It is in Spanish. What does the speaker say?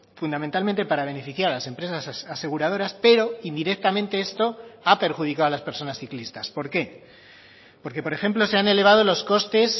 fundamentalmente para beneficiar a las empresas aseguradoras pero indirectamente esto ha perjudicado a las personas ciclistas por qué porque por ejemplo se han elevado los costes